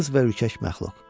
Cılız və ürkək məxluq.